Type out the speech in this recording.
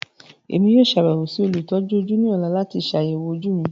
Emi yoo ṣabẹwo si olutọju oju ni ọla lati ṣayẹwo oju mi.